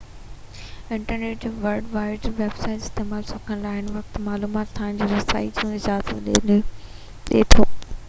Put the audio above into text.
internet ۽ world wide web جو استعمال سکڻ وارن کي هر وقت معلومات تائين رسائي جي اجازت ڏي ٿو